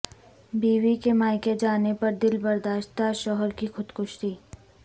بیوی کے مائیکے جانے پر دلبرداشتہ شوہر کی خودکشی